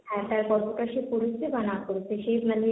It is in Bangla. হ্যাঁ কতটা সে পড়েছে বা সে না পড়েছে, সে মানে,